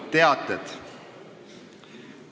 Teated.